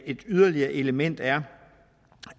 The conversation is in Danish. et yderligere element er